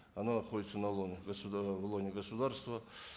оно находится ы в лоне государства